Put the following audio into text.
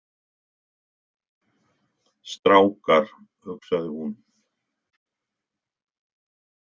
Strákar, hugsaði hún.